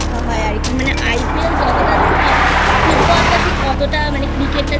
হয় আর কি মানে IPL যতটা দেখা হয় Football টা ঠিক অতটা মানে Cricket টা